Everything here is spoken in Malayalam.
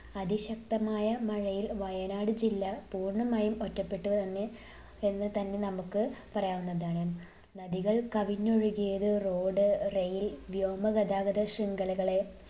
അതിശക്തമായ മഴയിൽ വയനാട് ജില്ല പൂർണ്ണമായും ഒറ്റപ്പെട്ടു എന്ന എന്ന് തന്നെ നമുക്ക് പറയാവുന്നതാണ്. നദികൾ കവിഞ്ഞൊഴുകിയത് road, rail വ്യോമ ഗതാഗത ശൃംഖലകളെ